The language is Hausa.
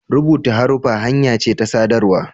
rubuta haruffa hanya ce ta sadarwa